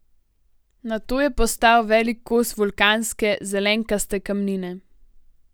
Nato je postal velik kos vulkanske, zelenkaste kamnine.